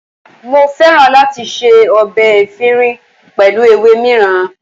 Mo fẹ́ràn láti ṣe ọbẹ̀ efinrin pẹ̀lú ewé mìíràn.